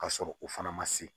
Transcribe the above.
Ka sɔrɔ o fana ma se